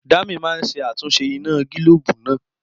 Dami máa ṣe àtúnṣe iná gílóòbù náà